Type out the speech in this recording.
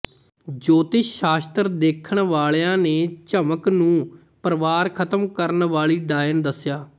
ਜੋਤਿਸ਼ ਸ਼ਾਸਤਰ ਦੇਖਣ ਵਾਲਿਆਂ ਨੇ ਝਮਕ ਨੂੰ ਪਰਵਾਰ ਖ਼ਤਮ ਕਰਨ ਵਾਲੀ ਡਾਇਣ ਦੱਸਿਆ